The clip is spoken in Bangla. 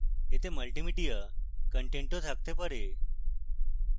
এতে multimedia content থাকতে পারে